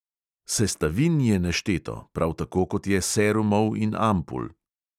Sestavin je nešteto, prav tako kot je serumov in ampul.